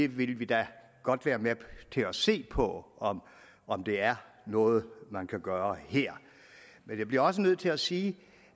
vi vil da godt være med til at se på om om det er noget man kan gøre her men jeg bliver også nødt til at sige